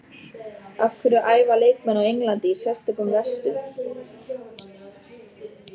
Af hverju æfa leikmenn á Englandi í sérstökum vestum?